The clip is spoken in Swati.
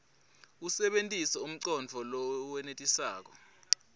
usebentise umcondvo lowenetisako